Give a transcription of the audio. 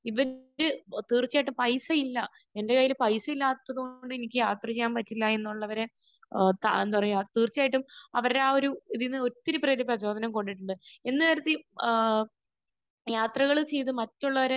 ഇവരുടെ...തീർച്ചയായിട്ടും പൈസയില്ല. എന്റെ കയ്യിൽ പൈസയില്ലാത്തത് കൊണ്ട് എനിക്ക് യാത്ര ചെയ്യാൻ പറ്റില്ല എന്നുള്ളവർ ത...എന്താ പറയാ തീർച്ചയായിട്ടും അവരുടെ ആ ഒരു ഒരു ഇതിൽ നിന്ന് ഒത്തിരി പേർക്ക് പ്രചോദനം കൊണ്ടിട്ടുണ്ട്. എന്ന് കരുതി ഏഹ് യാത്രകൾ ചെയ്ത് മറ്റുള്ളവരെ